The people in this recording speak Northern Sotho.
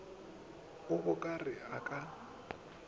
a bo ka re ka